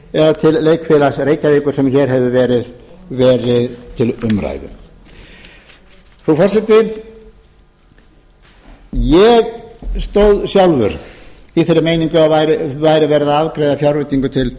eða til leikfélags reykjavíkur sem hér hefur verið til umræðu frú forseti ég stóð sjálfur í þeirri meiningu að verið væri að afgreiða fjárveitingu